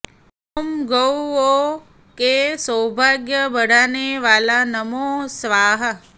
ॐ गौऔं के सौभाग्य बढाने वाले नमो स्वाहा